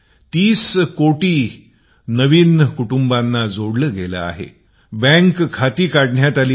३० करोड नवीन कुटुंबाना जोडले गेले आहे बँक खाते काढण्यात आली आहेत